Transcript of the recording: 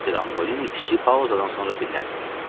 Mister Antolini kiçik pauzadan sonra dilləndi.